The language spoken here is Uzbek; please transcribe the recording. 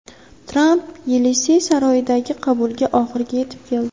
Tramp Yelisey saroyidagi qabulga oxirgi yetib keldi.